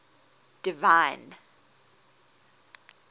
divine